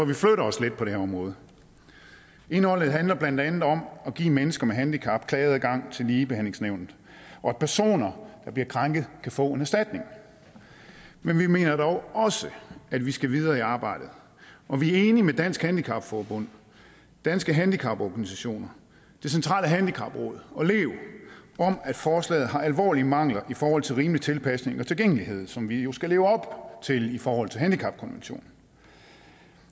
vi flytter os lidt på det her område indholdet handler blandt andet om at give mennesker med handicap klageadgang til ligebehandlingsnævnet og at personer der bliver krænket kan få en erstatning men vi mener dog også at vi skal videre i arbejdet og vi er enige med dansk handicap forbund danske handicaporganisationer det centrale handicapråd og lev om at forslaget har alvorlige mangler i forhold til rimelig tilpasning og tilgængelighed som vi jo skal leve op til i forhold til handicapkonventionen